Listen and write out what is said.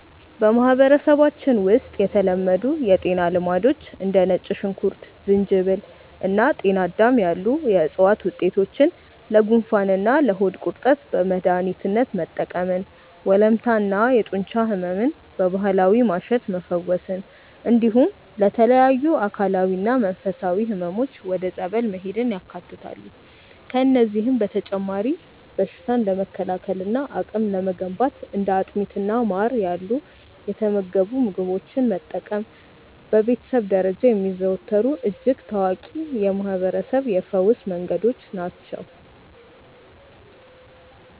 በማህበረሰባችን ውስጥ የተለመዱ የጤና ልማዶች እንደ ነጭ ሽንኩርት፣ ዝንጅብል እና ጤናዳም ያሉ የዕፅዋት ውጤቶችን ለጉንፋንና ለሆድ ቁርጠት በመድኃኒትነት መጠቀምን፣ ወለምታና የጡንቻ ሕመምን በባህላዊ ማሸት መፈወስን፣ እንዲሁም ለተለያዩ አካላዊና መንፈሳዊ ሕመሞች ወደ ጸበል መሄድን ያካትታሉ። ከእነዚህም በተጨማሪ በሽታን ለመከላከልና አቅም ለመገንባት እንደ አጥሚትና ማር ያሉ የተመገቡ ምግቦችን መጠቀም በቤተሰብ ደረጃ የሚዘወተሩ እጅግ ታዋቂ የማህርበረሰብ የፈውስ መንገዶች ናቸው።